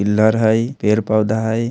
पिल्लर हय पेड़-पौधा हय।